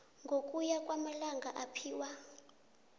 ngokuya kwamalanga aphiwa